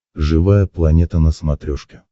живая планета на смотрешке